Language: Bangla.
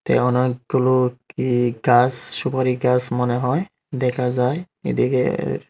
এতে অনেকগুলো কি গাস সুপারি গাস মনে হয় দেখা যায় এদিকের--